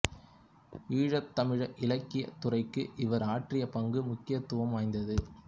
ஈழத்துத் தமிழ் இலக்கியத் துறைக்கு இவர் ஆற்றிய பங்கு முக்கியத்துவம் வாய்ந்தது